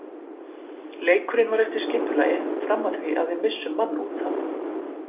Leikurinn var eftir skipulagi fram að því að við missum mann útaf.